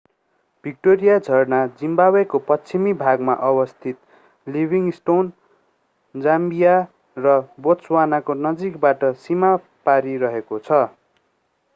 Victoria झरना जिम्बावेको पश्चिमी भागमा अवस्थित लिभिङस्टोन जाम्बिया र बोत्सवानाको नजिकबाट सीमा पारी रहेको छ